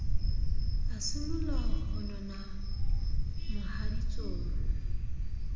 a simolla ho nona mohaditsong